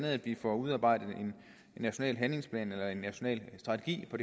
at vi får udarbejdet en national handlingsplan eller national strategi på